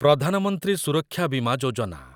Pradhan Mantri Suraksha Bima Yojana